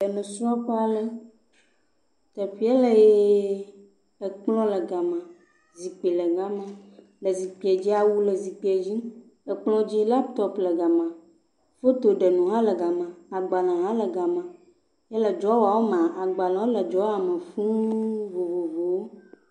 Eƒe la kɔmpita la le akplɔ dzi kple agbalewo ye agbale vovovowo le safia me ye azikpui li wokɔ awu da ɖe azikpia tame. Ye nu yi ke wokɔ eɖena pitsa la le akplɔ dzi.